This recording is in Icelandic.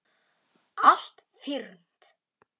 Allt fyrnt.